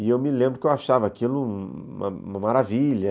E eu me lembro que eu achava aquilo uma uma maravilha.